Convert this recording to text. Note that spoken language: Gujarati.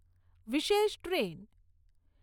વિશેષ ટ્રેન